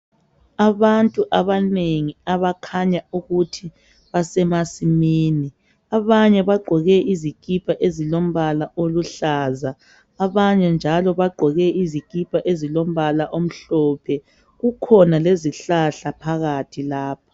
Abantu abanengi abakhanya ukuthi basemasimini ,abanye bagqoke izikipa ezilombala oluhlaza, qbanye njalo bagqoke izikipa ezilombala omhlophe .Kukhona lezihlahla phakathi lapho .